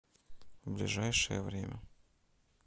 ближайшее время